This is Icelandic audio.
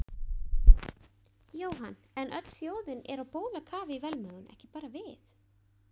Jóhann, en öll þjóðin er á bólakafi í velmegun, ekki bara við